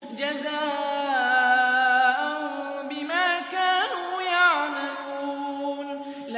جَزَاءً بِمَا كَانُوا يَعْمَلُونَ